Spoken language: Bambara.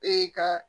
Ee ka